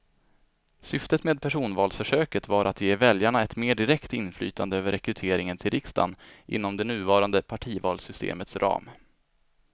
Syftet med personvalsförsöket var att ge väljarna ett mer direkt inflytande över rekryteringen till riksdagen inom det nuvarande partivalssystemets ram.